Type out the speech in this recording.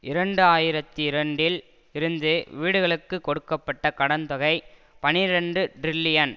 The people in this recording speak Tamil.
இரண்டு ஆயிரத்தி இரண்டில் இருந்து வீடுகளுக்கு கொடுக்க பட்ட கடன் தொகை பனிரண்டு டிரில்லியன்